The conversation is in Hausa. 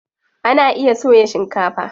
Ana iya soya shikefa.